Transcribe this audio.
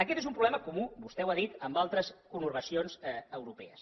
aquest és un problema comú vostè ho ha dit en altres conurbacions europees